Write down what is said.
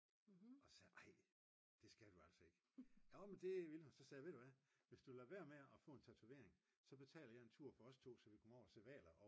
og så sagde jeg ej det skal du altså ikke nå men det ville hun så sagde jeg ved du hvad hvis du lader være med at få en tatovering så betaler jeg en tur for os to så vi kan komme over at se hvaler